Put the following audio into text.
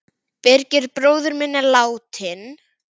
Birgir bróðir minn er látinn.